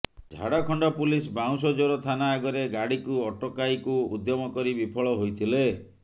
Jharkhand police Bansjor ଥାନା ଆଗରେ ଗାଡ଼ିକୁ ଅଟକାଇକୁ ଉଦ୍ୟମ କରି ବିଫଳ ହୋଇଥିଲେ